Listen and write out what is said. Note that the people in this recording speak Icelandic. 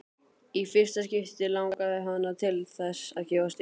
Í fyrsta skipti langaði hana til þess að gefast upp.